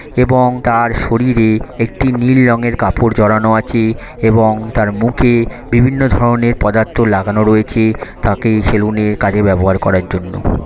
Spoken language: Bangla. এবং তার শরীরে একটি নীল রংয়ের কাপড় জড়ানো আছে এবং তার মুখে বিভিন্ন ধরনের পদার্থ লাগানো রয়েছে তাকে সেলুন